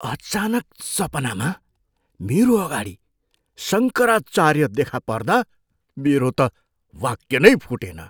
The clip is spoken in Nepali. अचानक सपनामा मेरो अगाडि शङ्कराचार्य देखा पर्दा मेरो त वाक्य नै फुटेन।